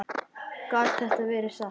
Gat þetta verið satt?